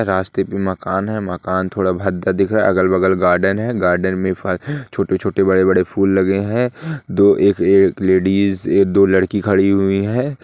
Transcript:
रास्ते पे मकान है मकान थोड़ा भद्दा दिख रहा है अगल बगल गार्डन है गार्डन में फ छोटे छोटे बड़े बड़े फूल लगे हैं दो एक ए लेडिज एक दो लड़की खड़ी हुई हैं।